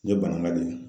N ye banangan de ye